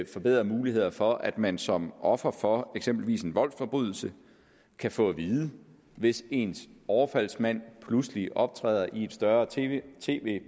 forbedrede muligheder for at man som offer for eksempelvis en voldsforbrydelse kan få at vide hvis ens overfaldsmand pludselig optræder i et større tv